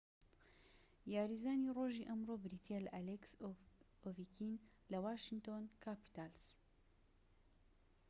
یاریزانی ڕۆژی ئەمڕۆ بریتیە لە ئەلێکس ئۆڤیکین لە واشینتۆن کاپیتاڵس